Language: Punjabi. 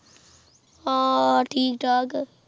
ਹਾਂ ਠੀਕ ਠਾਕ